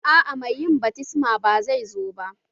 Aa mai yin baftisman ba zai zo ba